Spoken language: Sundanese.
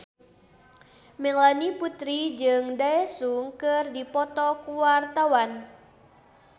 Melanie Putri jeung Daesung keur dipoto ku wartawan